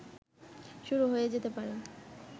শুরু হয়ে যেতে পারে